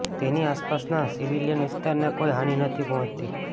તેની આસપાસના સિવિલિયન વિસ્તારને કોઈ હાનિ નથી પહોંચતી